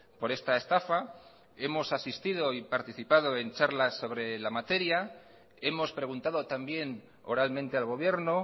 por esta estafa hemos asistido y participado en charlas sobre la materia hemos preguntado también oralmente al gobierno